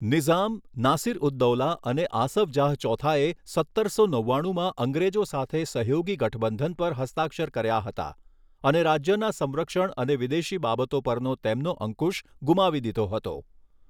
નિઝામ, નાસિર ઉદ દૌલા અને આસફ જાહ ચોથાએ સત્તરસો નવાણુંમાં અંગ્રેજો સાથે સહયોગી ગઠબંધન પર હસ્તાક્ષર કર્યા હતા અને રાજ્યના સંરક્ષણ અને વિદેશી બાબતો પરનો તેમનો અંકુશ ગુમાવી દીધો હતો.